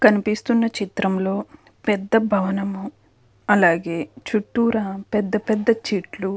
కనిపిస్తున్న చిత్రంలో పెద్ద భవనము అలాగే చుట్టూరా పెద్ద పెద్ద చెట్లు--